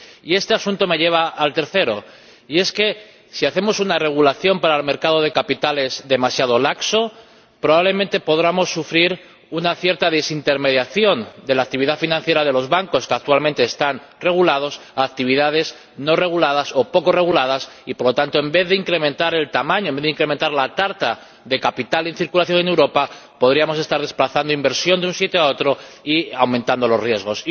Y este asunto me lleva al tercer comentario, y es que, si hacemos una regulación para el mercado de capitales demasiado laxa, probablemente podamos sufrir una cierta desintermediación de la actividad financiera de los bancos —que actualmente están regulados— a actividades no reguladas o poco reguladas y, por lo tanto, en vez de incrementar el tamaño, en vez de incrementar la tarta de capital en circulación en Europa, podríamos estar desplazando inversión de un sitio a otro y aumentando los riesgos.